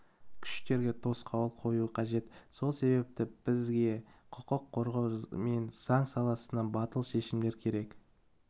күштерге тосқауыл қою қажет сол себепті бізге құқық қорғау мен заң саласында батыл шешімдер керек